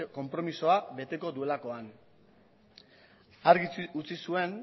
konpromezua beteko duelakoan argi utzi zuen